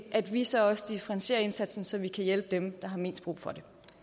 at vi så også differentierer indsatsen så vi kan hjælpe dem der har mest brug for